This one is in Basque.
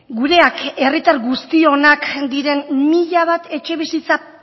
gureak herritar guztionak diren mila bat etxebizitza